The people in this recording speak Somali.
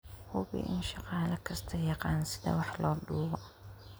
Hubi in shaqaale kastaa yaqaan sida wax loo duubo.